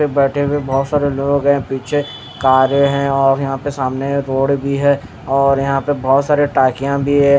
बैठे हुए बहोत सारे लोग हैं पीछे कारे हैं और यहां पे सामने रोड भी है और यहां पे बहोत सारे टाकिया भी है।